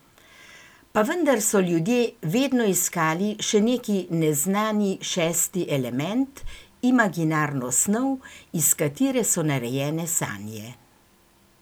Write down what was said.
Pa vendar so ljudje vedno iskali še neki neznani šesti element, imaginarno snov, iz katere so narejene sanje.